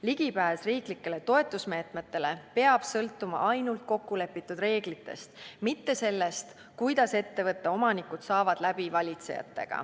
Ligipääs riiklikele toetusmeetmetele peab sõltuma ainult kokkulepitud reeglitest, mitte sellest, kuidas ettevõtte omanikud valitsejatega läbi saavad.